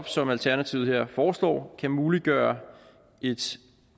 som alternativet her foreslår kan muliggøre et